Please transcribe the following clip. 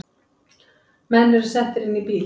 Menn eru settir inn í bíl